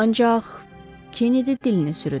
Ancaq Kennedy dilini sürüdü.